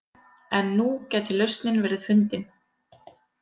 En nú gæti lausnin verið fundin